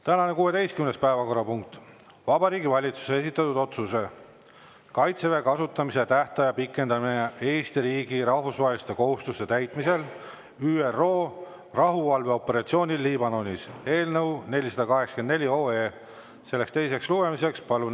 Tänane 16. päevakorrapunkt: Vabariigi Valitsuse esitatud otsuse "Kaitseväe kasutamise tähtaja pikendamine Eesti riigi rahvusvaheliste kohustuste täitmisel ÜRO rahuvalveoperatsioonil Liibanonis" eelnõu 484 teine lugemine.